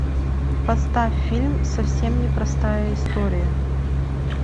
поставь фильм совсем не простая история